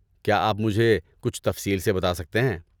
کیا آپ مجھے کچھ تفصیل سے بتا سکتے ہیں؟